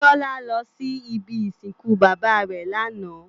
Biola lò si ibi isinkú baba rè làná